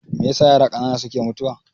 Meyasa yara ƙanana suke mutuwa?